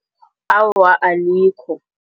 Awa, alikho.